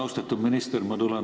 Austatud minister!